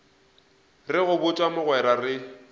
re go botša mogwera re